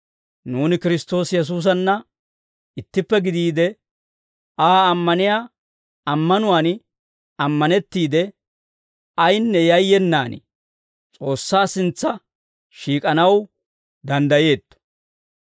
Nuuni Kiristtoosi Yesuusanna ittippe gidiide, Aa ammaniyaa ammanuwaan ammanettiide, ayinne yayyenaan S'oossaa sintsa shiik'anaw danddayeetto.